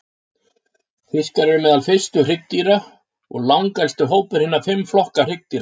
Fiskar eru meðal fyrstu hryggdýra og langelsti hópur hinna fimm flokka hryggdýra.